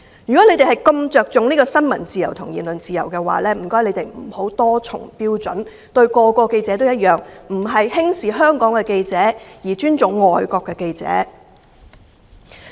如果你們如此着重新聞自由和言論自由，請不要多重標準，對每個記者也要一樣，不要輕視香港的記者，而尊重外國的記者。